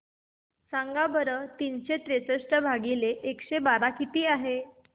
सांगा बरं तीनशे त्रेसष्ट भागीला एकशे बारा किती आहे